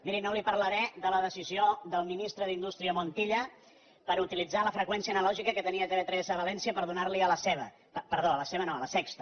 miri no li parlaré de la decisió del ministre d’indústria montilla per utilitzar la freqüència analògica que tenia tv3 a valència per donar li a la sexta